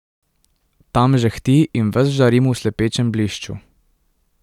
Tam žehti in ves žarim v slepečem blišču.